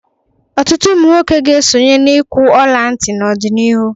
Ọtụtụ ụmụ nwoke ga-esonye n'ịkwụ ọla ntị n'ọdịnihu.